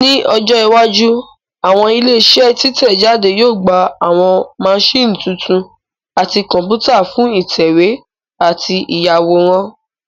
Ní ọjọ́ iwájú àwọn ilé iṣẹ́ títẹ̀ jáde yóò gba àwọn maṣíìnì tuntun àti Kọ̀m̀pútà fún ìtẹ̀wé àti ìyàwòrán